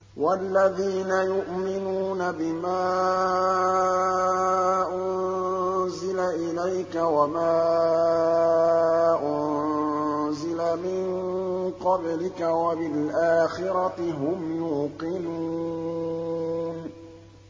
وَالَّذِينَ يُؤْمِنُونَ بِمَا أُنزِلَ إِلَيْكَ وَمَا أُنزِلَ مِن قَبْلِكَ وَبِالْآخِرَةِ هُمْ يُوقِنُونَ